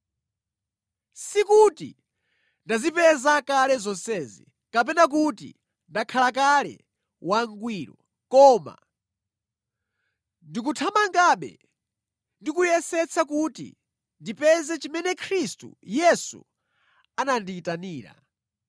Sikuti ndazipeza kale zonsezi, kapena kuti ndakhala kale wangwiro, koma ndikuthamangabe ndi kuyesetsa kuti ndipeze chimene Khristu Yesu anandiyitanira.